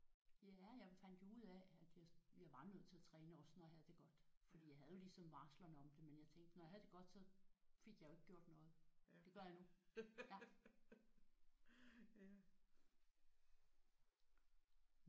Ja jeg fandt jo ud af at jeg jeg var nødt til at træne også når jeg havde det godt. Fordi jeg havde jo ligesom varslerne om det men jeg tænkte når jeg havde det godt så fik jeg jo ikke gjort noget. Det gør jeg nu